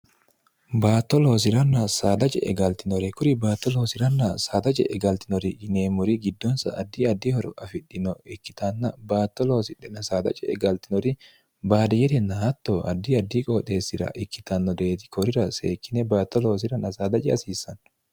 baatto loosi'ranna saadaje e galtinore kuri baatto loosi'ranna saadaje e galtinori yineemmuri giddonsa addi addihoro afidhino ikkitanna baatto loosd ce e galtinori baadiyerinna atto addi addi qooxeessira ikkitanno dreeti korira seekkine baatto loosirann saadaji hasiissanno